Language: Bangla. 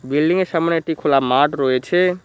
বিল্ডিংয়ের সামনে একটি খোলা মাঠ রয়েছে।